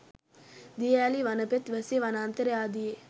දිය ඇලී වනපෙත් වැසි වනාන්තර ආදියේ